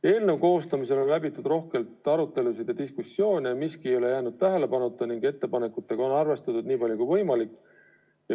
Eelnõu koostamisel on läbitud rohkelt arutelusid ja diskussioone, miski ei ole jäänud tähelepanuta ning ettepanekutega on arvestatud niipalju kui võimalik.